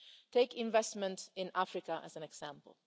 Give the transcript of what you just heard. Take investment in Africa as an example.